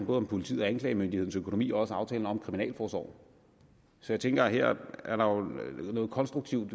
om politiets og anklagemyndighedens økonomi og også aftalen om kriminalforsorgen så jeg tænker at her er der jo noget konstruktivt